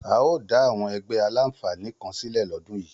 A óò dá àwọn ẹgbẹ́ aláǹfààní kan sílẹ̀ lọ́dún yìí